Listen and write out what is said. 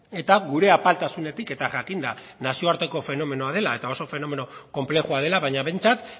eta gure apaltasunetik eta jakinda nazioarteko fenomenoa dela eta oso fenomeno konplexua dela baina behintzat